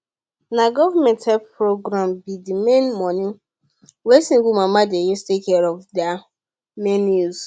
na government help program be d main money wey single mama dey use take care of their main use